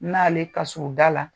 N'ale ka surun da la,